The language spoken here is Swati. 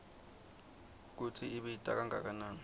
kutsi ibita kangakanani